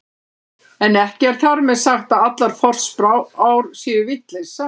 En ekki er þar með sagt að allar forspár séu vitleysa.